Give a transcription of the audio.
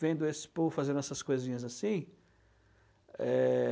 Vendo esse povo fazendo essas coisinhas assim. Eh...